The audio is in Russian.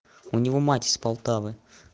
у него мать из полтавы